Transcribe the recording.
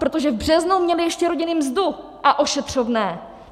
Protože v březnu měly ještě rodiny mzdu a ošetřovné.